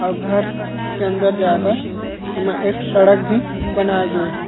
अऊ घर अंदर जाए बर एमा एक सड़क भी बनाए गे हे।